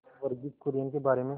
वर्गीज कुरियन के बारे में